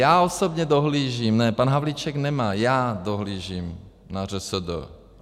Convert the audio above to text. Já osobně dohlížím - ne, pan Havlíček nemá, já dohlížím na ŘSD.